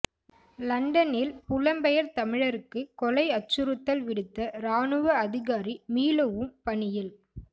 லண்டனில் புலம்பெயர் தமிழருக்கு கொலை அச்சுறுத்தல் விடுத்த இராணுவ அதிகாரி மீளவும் பணியில்